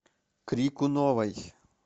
крикуновой